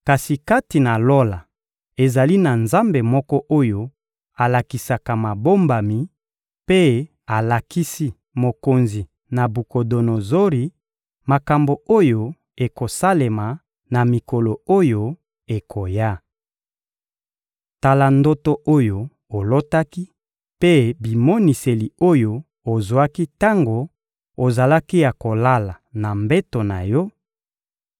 kasi kati na Lola, ezali na Nzambe moko oyo alakisaka mabombami; mpe alakisi mokonzi Nabukodonozori makambo oyo ekosalema na mikolo oyo ekoya. Tala ndoto oyo olotaki mpe bimoniseli oyo ozwaki tango ozalaki ya kolala na mbeto na yo: